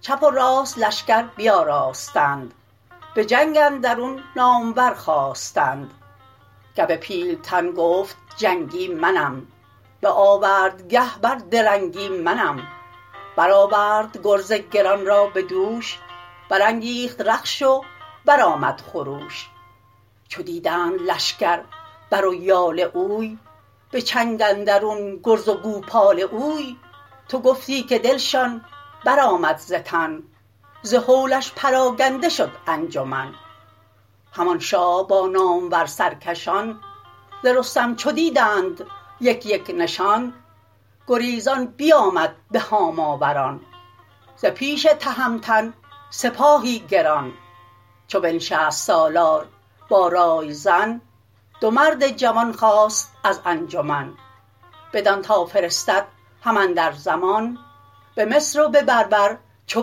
چپ و راست لشکر بیاراستند به جنگ اندرون نامور خواستند گو پیلتن گفت جنگی منم به آوردگه بر درنگی منم برآورد گرز گران را به دوش برانگیخت رخش و برآمد خروش چو دیدند لشکر بر و یال اوی به چنگ اندرون گرز و گوپال اوی تو گفتی که دلشان برآمد ز تن ز هولش پراگنده شد انجمن همان شاه با نامور سرکشان ز رستم چو دیدند یک یک نشان گریزان بیامد به هاماوران ز پیش تهمتن سپاهی گران چو بنشست سالار با رایزن دو مرد جوان خواست از انجمن بدان تا فرستد هم اندر زمان به مصر و به بربر چو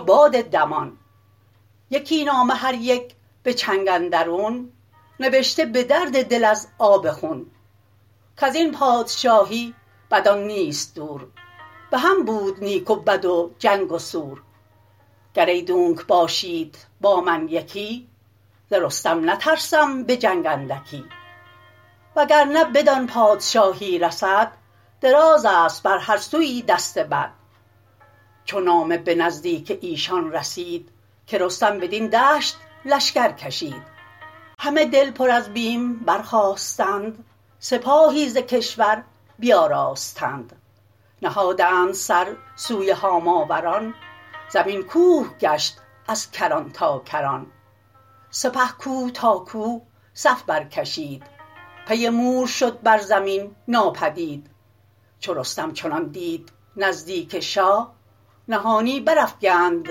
باد دمان یکی نامه هر یک به چنگ اندرون نوشته به درد دل از آب خون کزین پادشاهی بدان نیست دور بهم بود نیک و بد و جنگ و سور گرایدونک باشید با من یکی ز رستم نترسم به جنگ اندکی وگرنه بدان پادشاهی رسد درازست بر هر سویی دست بد چو نامه به نزدیک ایشان رسید که رستم بدین دشت لشکر کشید همه دل پر از بیم برخاستند سپاهی ز کشور بیاراستند نهادند سر سوی هاماوران زمین کوه گشت از کران تا کران سپه کوه تا کوه صف برکشید پی مور شد بر زمین ناپدید چو رستم چنان دید نزدیک شاه نهانی برافگند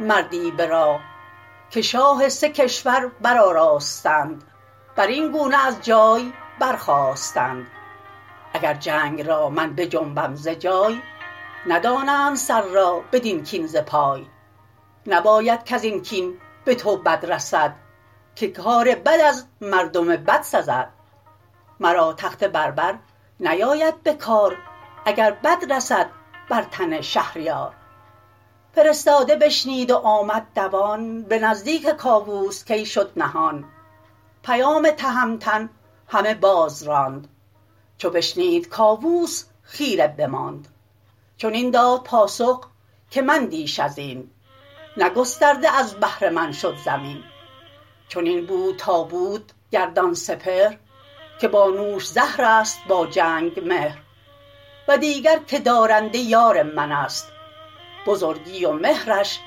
مردی به راه که شاه سه کشور برآراستند بر این گونه از جای برخاستند اگر جنگ را من بجنبم ز جای ندانند سر را بدین کین ز پای نباید کزین کین به تو بد رسد که کار بد از مردم بد رسد مرا تخت بربر نیاید به کار اگر بد رسد بر تن شهریار فرستاده بشنید و آمد دوان به نزدیک کاووس کی شد نهان پیام تهمتن همه باز راند چو بشنید کاووس خیره بماند چنین داد پاسخ که مندیش ازین نه گسترده از بهر من شد زمین چنین بود تا بود گردان سپهر که با نوش زهرست با جنگ مهر و دیگر که دارنده یار منست بزرگی و مهرش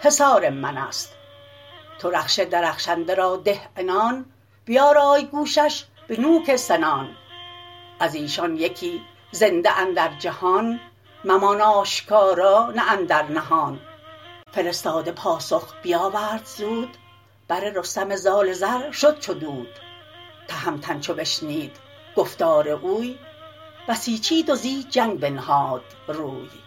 حصار منست تو رخش درخشنده را ده عنان بیارای گوشش به نوک سنان ازیشان یکی زنده اندر جهان ممان آشکارا نه اندر نهان فرستاده پاسخ بیاورد زود بر رستم زال زر شد چو دود تهمتن چو بشنید گفتار اوی بسیچید و زی جنگ بنهاد روی